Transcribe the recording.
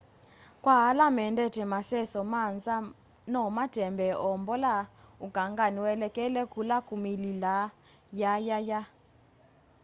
kwa ala mendete maseso ma nza no matembee o mbola ukangani uelekele kula kumililaa yayaya